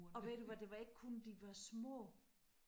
Og ved du hvad det var ikke kun de var små